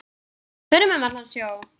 Förum um allan sjó.